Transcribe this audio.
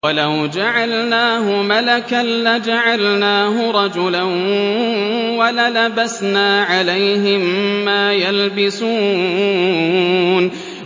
وَلَوْ جَعَلْنَاهُ مَلَكًا لَّجَعَلْنَاهُ رَجُلًا وَلَلَبَسْنَا عَلَيْهِم مَّا يَلْبِسُونَ